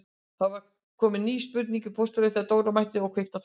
Það var komin ný spurning í pósthólfið þegar Dóra mætti og kveikti á tölvunni.